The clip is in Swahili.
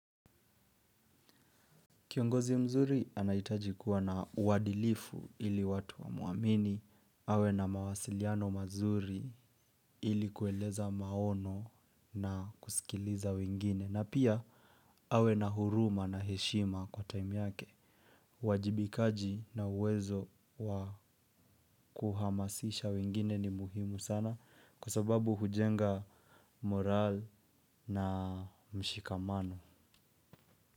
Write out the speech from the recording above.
Kiongozi mzuri anahitaji kuwa na uadilifu ili watu wamwamini, awe na mawasiliano mazuri ili kueleza maono na kusikiliza wengine, na pia awe na huruma na heshima kwa time yake. Uwajibikaji na uwezo wa kuhamasisha wengine ni muhimu sana kwa sababu hujenga morali na mshikamano.